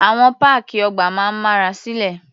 Àwọn páàkì ọgbà máa ń mára silé.